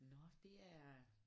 Nåh det er